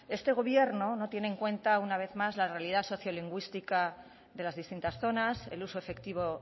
este gobierno no tiene en cuenta una vez más la realidad sociolingüística de las distintas zonas el uso efectivo